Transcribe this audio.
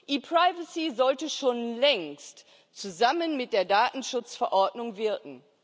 ePrivacy sollte schon längst zusammen mit der Datenschutzverordnung wirken.